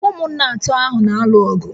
Ụmụnna atọ ahụ na-alụ ọgụ